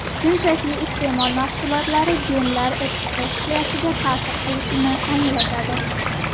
Shunchaki, iste’mol mahsulotlari genlar ekspressiyasiga ta’sir qilishini anglatadi.